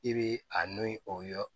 I bi a no ni o ye